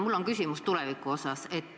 Mul on küsimus tuleviku osas.